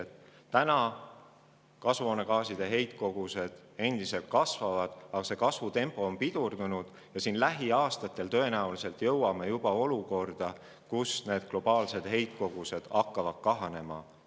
Inimtekkeliste kasvuhoonegaaside heitkogused täna endiselt kasvavad, aga kasvutempo on pidurdunud ja lähiaastatel me jõuame tõenäoliselt olukorda, kus globaalsed heitkogused hakkavad kahanema.